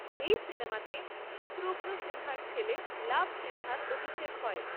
এই সিনেমাতে শত্রুঘ্ন সিনহার ছেলে লাভ সিনহার অভিষেক হয়।